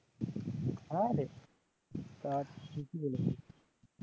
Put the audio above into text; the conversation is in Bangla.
হ্যাঁরে তা ঠিকই বলেছিস